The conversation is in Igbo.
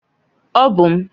Ọ bụ m.